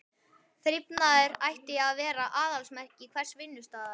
Þrifnaður ætti að vera aðalsmerki hvers vinnustaðar.